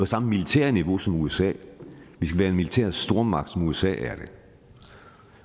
samme militære niveau som usa vi skal være en militær stormagt som usa er det